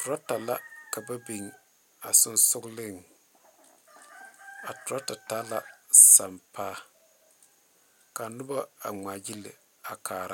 Tureta la ka ba be a sonsoŋle a turetaa sampa ka noba ŋmaa gyeli a kaa